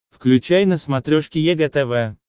включай на смотрешке егэ тв